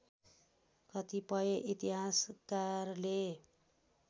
कतिपय इतिहासकारले